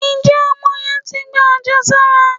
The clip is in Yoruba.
Njé Omo yen tí gbá ajésárá